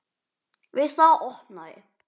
Við það opnaði